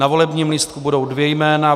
Na volebním lístku budou dvě jména.